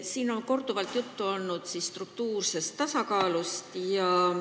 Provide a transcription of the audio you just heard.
Siin on korduvalt juttu olnud struktuursest tasakaalust.